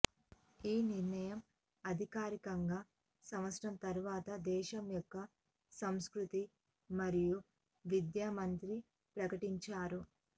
ఈ నిర్ణయం అధికారికంగా సంవత్సరం తరువాత దేశం యొక్క సంస్కృతి మరియు విద్య మంత్రి ప్రకటించారు